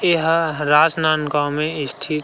एहा राजनांदगाँव में स्थित--